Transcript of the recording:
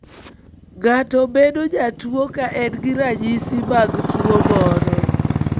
Ng'ato bedo jatuo ka en gi ranyisi mag tuo moro.